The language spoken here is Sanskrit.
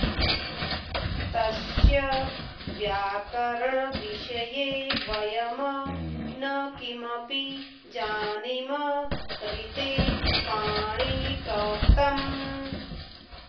तस्य व्याकरणविषये वयं न किमपि जानीम ऋते पाणिनिप्रोक्तम्